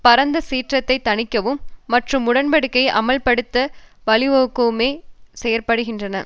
பரந்த சீற்றத்தை தணிக்கவும் மற்றும் உடன்படிக்கையை அமுல்படுத்த வழிவகுக்கவுமே செயற்படுகின்றன